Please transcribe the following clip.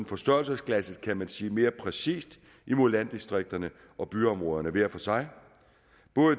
forstørrelsesglasset kan man sige mere præcist mod landdistrikterne og byområderne hver for sig